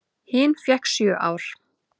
Hin fékk sjö ár.